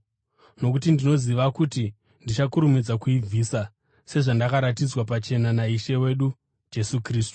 nokuti ndinoziva kuti ndichakurumidza kuibvisa, sezvandakaratidzwa pachena naIshe wedu Jesu Kristu.